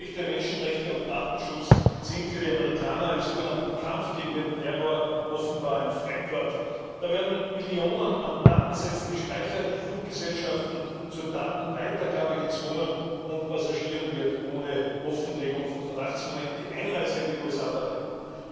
Grundrechte, Menschenrechte und Datenschutz sind für die Amerikaner im so genannten Kampf gegen den Terror offenbar ein Fremdwort. Da werden Millionen an Datensätzen gespeichert, die Fluggesellschaften zur Datenweitergabe gezwungen, und Passagieren wird ohne Offenlegung von Verdachtsmomenten die Einreise in die USA verweigert.